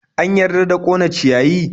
An yarda da ƙone ciyayi?